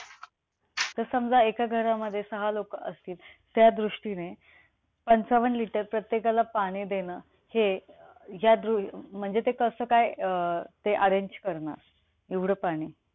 तर समजा एका घरामध्ये सहा लोकं असतील, त्या दृष्टीने पंचावन्न liter प्रत्येकाला पाणी देणं हे अं म्हणजे ते अं कसं काय अं arrange करणार? एवढं पाणी!